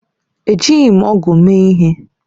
Ejighị m ọ̀gu mee ihe.